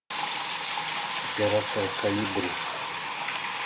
операция колибри